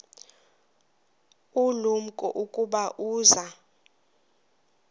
ulumko ukuba uza